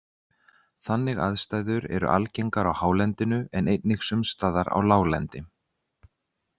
Þannig aðstæður eru algengar á hálendinu en einnig sums staðar á láglendi.